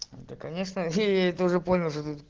да конечно я это уже понял